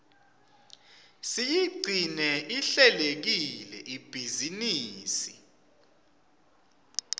siyigcine ihlelekile ibhizinisi